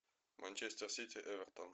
манчестер сити эвертон